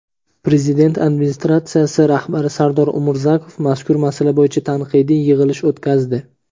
Prezident Administratsiyasi rahbari Sardor Umurzakov mazkur masala bo‘yicha tanqidiy yig‘ilish o‘tkazdi.